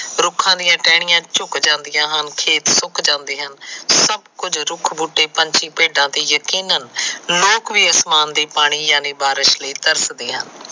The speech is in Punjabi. ਰੁਖਾ ਦੀਆਂ ਟਹਿਣੀਆਂ ਝੂਕ ਜਾਂਦੀਆ ਹਨ ਖੇਤ ਸੁਕ ਜਾਂਦੇ ਹਨ ਸੱਭ ਕੁਝ ਰੁਖ ਬੁਟੇ ਪਾਂਛੀ ਭੇਡਾ ਤੇ ਜਕੀਨਾਨ ਲੋਕ ਵੀ ਬਾਰਿਸ਼ ਲਈ ਤਰਸਦੇ ਹਨ